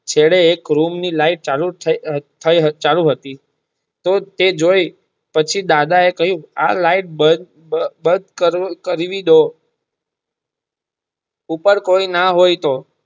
છેડે એક કુલંગ ની લાઈટ ચાલુ હતી તરત તે જોય પછી દાદા એ પછી દાદા એ ખિયું આ લાઈટ બંધ કરવી ડો ઉપર કોઈ ના હોય તો.